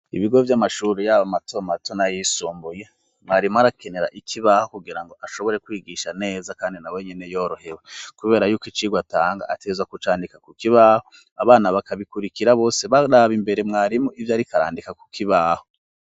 Ibigo vy'amashuri yaba matomato na yisumbuye mwarimu arakenera ikibaho kugira ngo ashobore kwigisha neza kandi na wenyene yorohewe kubera yuko icigwa atanga ateza kucandika ku kibaho abana bakabikurikira bose baraba imbere mwarimu ivyo ariko arandika ku kibaho.